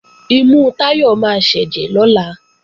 Imú Táyọ̀ máa sẹ́jẹ̀ lọ́la